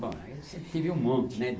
Bom, eu sempre tive um monte, né?